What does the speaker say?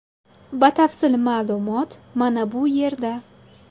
Batafsil ma’lumot mana bu yerda .